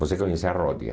Você conhecia a Rodia.